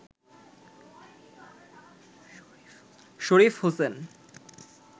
Sharif Hossain